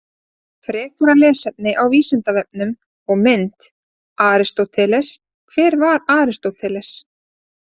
Frekara lesefni á Vísindavefnum og mynd: Aristóteles: Hver var Aristóteles?